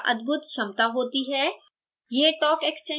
latex में क्या अद्भुत क्षमता होती है